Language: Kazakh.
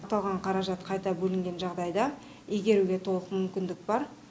аталған қаражат қайта бөлінген жағдайда игеруге толық мүмкіндік бар